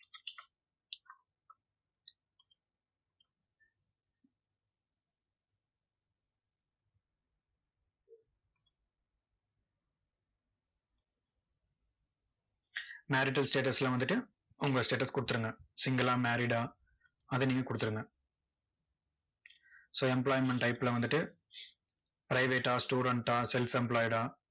marital status ல வந்துட்டு, உங்க status கொடுத்துருங்க single லா married ஆ, அதை நீங்க கொடுத்துருங்க so employment type ல வந்துட்டு private ஆ student ஆ self employed ஆ